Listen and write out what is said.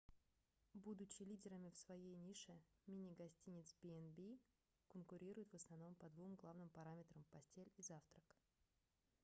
будучи лидерами в своей нише мини-гостиницы b&b конкурируют в основном по двум главным параметрам постель и завтрак